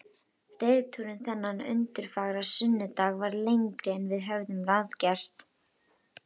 Reiðtúrinn þennan undurfagra sunnudag varð lengri en við höfðum ráðgert.